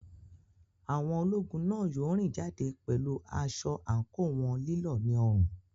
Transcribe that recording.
Àwọn ológun náà yóò rìn jáde pẹ̀lú aṣọ àǹkóò wọn lílọ̀ ní ọrùn.